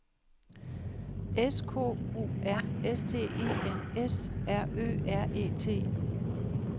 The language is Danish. S K O R S T E N S R Ø R E T